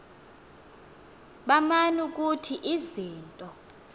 baman ukuthi izinto